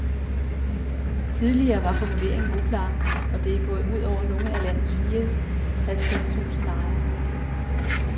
Tidligere var formuleringen uklar, og det er gået ud over nogle af landets fire halvtreds tusind lejere.